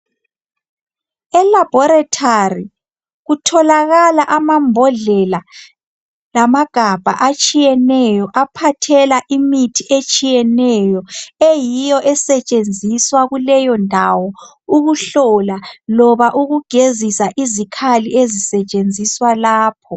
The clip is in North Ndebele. Elabhorethari kutholakala amambodlela lamagabha atshiyeneyo aphathela imithi etshiyeneyo, eyiyo esetshenziswa kuleyo ndawo ukuhlola loba ukugezisa izikhali ezisetshenziswa lapho.